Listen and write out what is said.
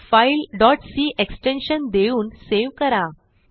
file c extension देऊन save करा